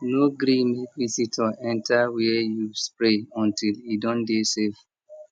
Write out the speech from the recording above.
no gree make visitor enter where you spray until e don dey safe